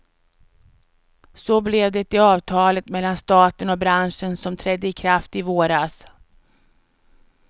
Så blev det i avtalet mellan staten och branschen som trädde i kraft i våras.